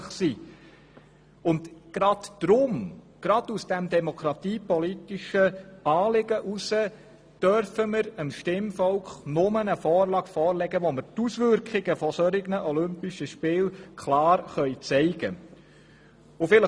Ich meine, gerade wegen dieser demokratiepolitischen Anliegen dürfen wir dem Stimmvolk eine Vorlage erst unterbreiten, wenn wir die Auswirkungen solcher olympischen Spiele klar aufzeigen können.